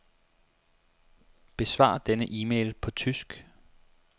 Besvar denne e-mail på tysk.